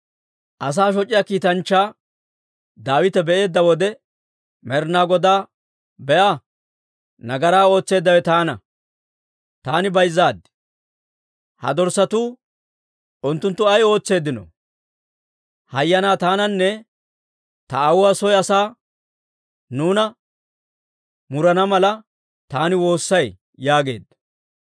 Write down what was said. Asaa shoc'iyaa kiitanchchaa Daawite be'eedda wode, Med'inaa Godaa, «Be'a! Nagaraa ootseeddawe taana; taani bayzzaad! Ha dorssatuu, unttunttu ay ootseeddino? Hayyanaa, taananne ta aawuwaa soo asaa neeni murana mala taani woossay» yaageedda.